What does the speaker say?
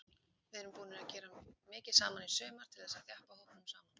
Við erum búnir að gera mikið saman í sumar til þess að þjappa hópnum saman.